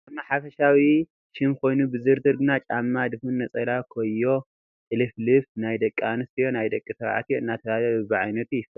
ጫማ ሓፈሻዊ ሽም ኮይኑ ብዝርዝር ግን ጫማ ድፉን፣ ነፀላ፡ ኮዮ፣ ጥልፍልፍ፣ ናይ ደቂ ኣንስትዮ፣ ናይ ደቂ ተባዕትዮ እናተባህለ በብዓይነቱ ይፈላለ፡፡